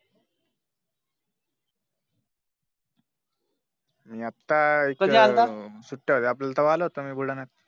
मी अत्तासुट्ट्या होत्या तेव्हा आला होतो मी बुलढाण्यात